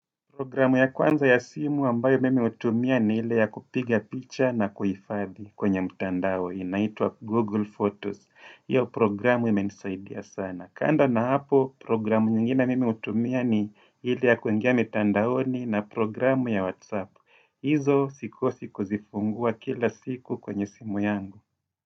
Programu ya kwanza ya simu ambayo mimi hutumia ni ile ya kupiga picha na kuhifadhi kwenye mtandao inaitwa Google Photos. Hiyo programu imenisaidia sana. Kando na hapo programu nyingine mimi hutumia ni ile ya kuingia mtandaoni na programu ya WhatsApp. Izo sikosi kuzifungua kila siku kwenye simu yangu.